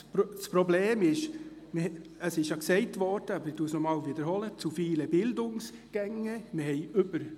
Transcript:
Das Problem ist – das wurde bereits gesagt –, dass es sich um zu viele Bildungsgänge handelt.